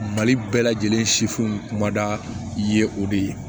Mali bɛɛ lajɛlen sifinw kumada ye o de ye